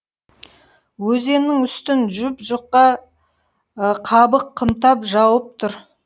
өзеннің үстін жұп жұқа қабық қымтап жауып тұр